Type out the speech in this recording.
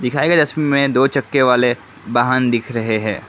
इसमें दो चक्के वाले वाहन दिख रहे हैं।